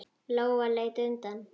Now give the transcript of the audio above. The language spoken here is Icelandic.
Lóa leit undan.